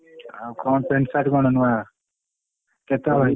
ଆଉ କଣ paint, shirt କଣ ନୁଆ କେତେ ହଳ?